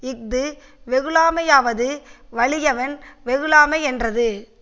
இது வெகுளாமையாவது வலியவன் வெகுளாமை யென்றது